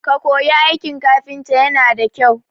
Ka koyi aiki kafita yana da kyau